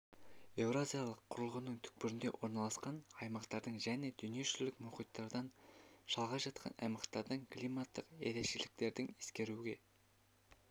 еуразиялық құрлығының түкпірінде орналасқан аймақтардың және дүние жүзілік мұхиттардан шалғай жатқан аймақтардың климаттық ерекшеліктердің ескеруге